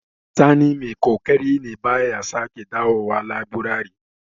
Sani mai ƙoƙari ne, ba ya sake da zuwa laburari.